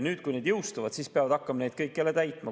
Nüüd, kui need jõustuvad, peavad kõik hakkama neid jälle täitma.